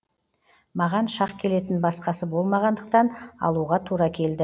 маған шақ келетін басқасы болмағандықтан алуға тура келді